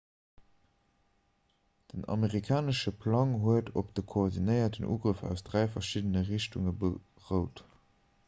den amerikanesche plang huet op de koordinéierten ugrëff aus dräi verschiddene richtunge berout